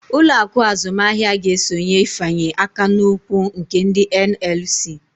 Uloaku azumahia ga-esonye ifanye akan'ụkwụ nke ndi NLC